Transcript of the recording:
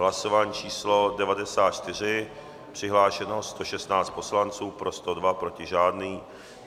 Hlasování číslo 94, přihlášeno 116 poslanců, pro 102, proti žádný.